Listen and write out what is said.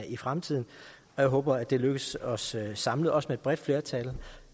i fremtiden og jeg håber at det lykkes os samlet også med et bredt flertal